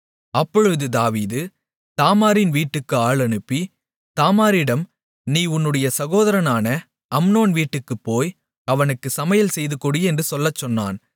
அப்பொழுது தாவீது தாமாரின் வீட்டுக்கு ஆள் அனுப்பி தாமாரிடம் நீ உன்னுடைய சகோதரனான அம்னோன் வீட்டுக்குப் போய் அவனுக்கு சமையல் செய்துகொடு என்று சொல்லச்சொன்னான்